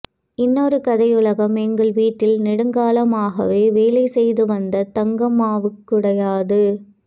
இன்னொரு கதையுலகம் எங்கள் வீட்டில் நெடுங்காலமாகவே வேலைசெய்து வந்த தங்கம்மாவுடையது